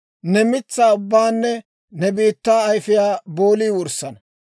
Ne mitsaa ubbaanne ne biittaa ayfiyaa boolii wurssana.